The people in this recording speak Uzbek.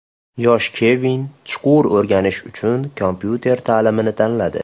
Yosh Kevin chuqur o‘rganish uchun kompyuter ta’limini tanladi.